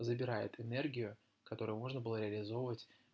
забирает энергию которую можно было реализовать